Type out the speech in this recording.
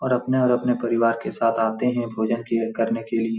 और अपने और अपने परिवार के साथ आते हैं भोजन के करने के लिए।